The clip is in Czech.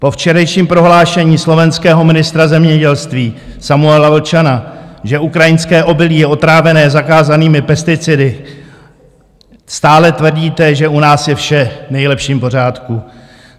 Po včerejším prohlášení slovenského ministra zemědělství Samuela Vlčana, že ukrajinské obilí je otrávené zakázanými pesticidy, stále tvrdíte, že u nás je vše v nejlepším pořádku.